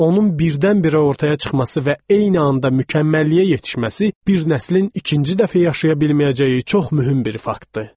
Onun birdən-birə ortaya çıxması və eyni anda mükəmməlliyə yetişməsi bir nəslin ikinci dəfə yaşaya bilməyəcəyi çox mühüm bir faktdır.